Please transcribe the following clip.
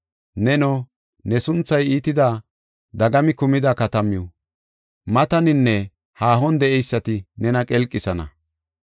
Neno, ne sunthay iitida dagami kumida katamaw, mataninne haahon de7eysati nena qelqisana.